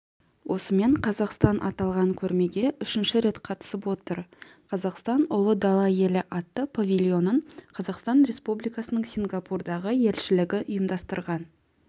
осымен қазақстан аталған көрмеге үшінші рет қатысып отыр қазақстан ұлы дала елі атты павильонын қазақстан республикасының сингапурдағы елшілігі ұйымдастырған